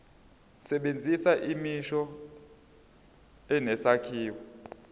sebenzisa imisho enesakhiwo